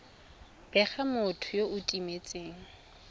bega motho yo o timetseng